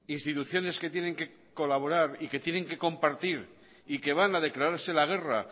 instituciones que tienen que colaborar y que tienen que compartir y que van a declararse la guerra